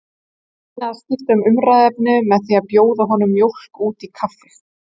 Ég reyni að skipta um umræðuefni með því að bjóða honum mjólk út í kaffið.